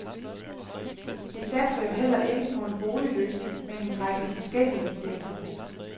Vi satser jo heller ikke på en boligløsning, men en række forskellige, siger hun.